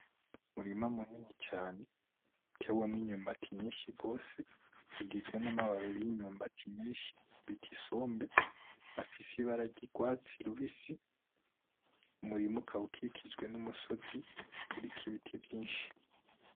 Umurima minini cane, utewemwo imyumbati myinshi gose ugizwe n'amababi y'imyumbati bita isombe afise ibara ry'urwatsi rubisi umurima ukaba ukikijwe n'umusozi uriko ibiti vyinshi.